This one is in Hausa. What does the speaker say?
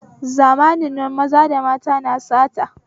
Zamanin na maza da mata na sata